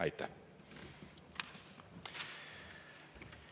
Aitäh!